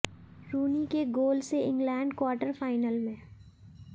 रुनी के गोल से इंग्लैंड क्वार्टर फाइनल में